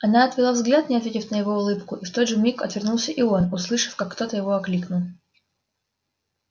она отвела взгляд не ответив на его улыбку и в тот же миг отвернулся и он услышав как кто-то его окликнул